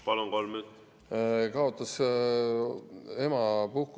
Palun, kolm minutit!